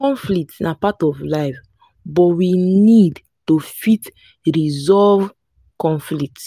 conflict na part of life but we need to fit resolve conflict